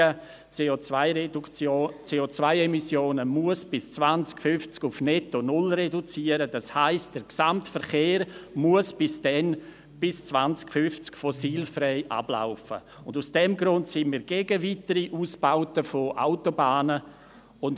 In Bezug auf den formellen Aspekt, ob wir eigentlich die richtige Debatte führen, befinden wir uns eigentlich auf dem Standpunkt, der von Lars Guggisberg vertreten wurde.